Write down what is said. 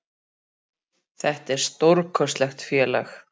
Þetta er stórkostlegt félag.